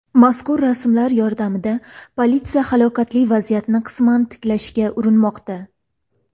Mazkur rasmlar yordamida politsiya halokatli vaziyatni qisman tiklashga urinmoqda.